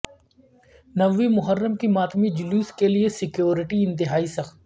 نویں محرم کے ماتمی جلوس کے لیے سکیورٹی انتہائی سخت